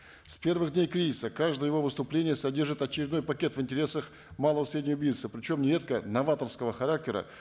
с первых дней кризиса каждое его выступление содержит очередной пакет в интересах малого и среднего бизнеса причем нередко новаторского характера